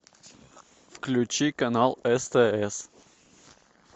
включи канал стс